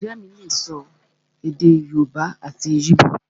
Ìyá mí lè sọ èdè yóòbá àti íbò